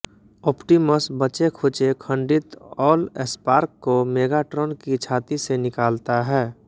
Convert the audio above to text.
Optimus बचेखुचे खंडित Allspark को मेगाट्राॅन की छाती से निकालता हैं